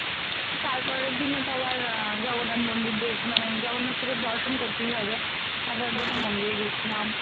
তো তারপরের দিনে তো আবার জগন্নাথ মন্দির দে মানে জগন্নাথকে তো দর্শন করতেই হবে তারপরে মন্দিরে গেছিলাম।